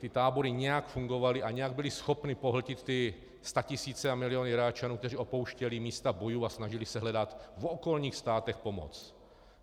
Ty tábory nějak fungovaly a nějak byly schopny pohltit ty statisíce a miliony Iráčanů, kteří opouštěli místa bojů a snažili se hledat v okolních státech pomoc.